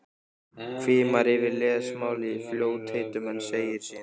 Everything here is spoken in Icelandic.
Hvimar yfir lesmálið í fljótheitum en segir síðan